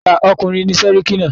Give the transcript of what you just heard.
Ìkà ọkùnrin ni séríkí náà.